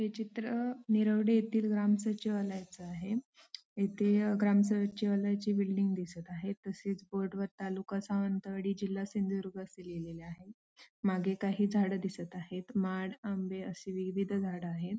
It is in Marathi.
चित्र निरवडे येथील ग्रामसचीवालय च आहे इथ ग्रामसचीवलयाची बिल्डिंग दिसत आहे तसेच बोर्डवर तालुका सावंतवाडी जिल्हा सिंधुदुर्ग असे लिहिलेले आहे मागे काही झाडे दिसत आहेत माड अंबे असे विविध झाड आहेत.